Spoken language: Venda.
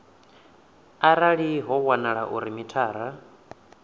arali ho wanala uri mithara